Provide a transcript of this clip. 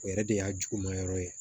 O yɛrɛ de y'a juguma yɔrɔ ye